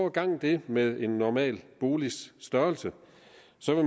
at gange det med en normal boligs størrelse